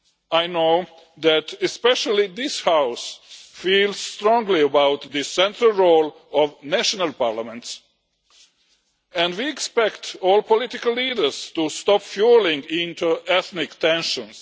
I know that, especially, this House feels strongly about the central role of national parliaments, and we expect all political leaders to stop fuelling inter ethnic tensions.